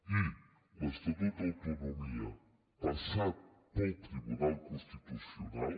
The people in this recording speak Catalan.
i l’estatut d’autonomia passat pel tribunal constitucional